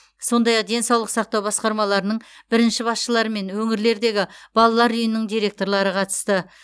сондай ақ денсаулық сақтау басқармаларының бірінші басшылары мен өңірлердегі балалар үйінің директорлары қатысты